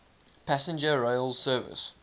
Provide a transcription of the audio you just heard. passenger rail service